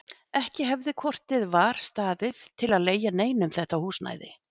Ekki hefði hvort eð var staðið til að leigja neinum þetta húsnæði.